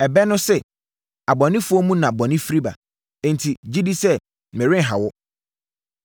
Ɛbɛ no se, ‘Abɔnefoɔ mu na bɔne firi ba.’ Enti, gye di sɛ, merenha wo.